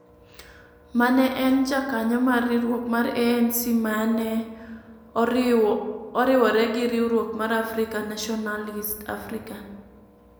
ma ne en jakanyo mar riwruok mar ANC ma ne oriwore gi riwruok mar African Nationalist "African",